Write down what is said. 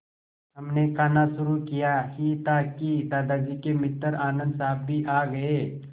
हमने खाना शुरू किया ही था कि दादाजी के मित्र आनन्द साहब भी आ गए